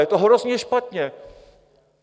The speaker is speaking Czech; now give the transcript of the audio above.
Je to hrozně špatně.